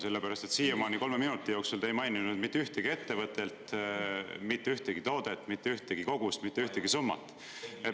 Sellepärast, et siiamaani kolme minuti jooksul te ei maininud mitte ühtegi ettevõtet, mitte ühtegi toodet, mitte ühtegi kogust, mitte ühtegi summat.